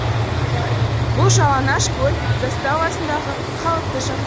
бұл жалаңашкөл заставасындағы қалыпты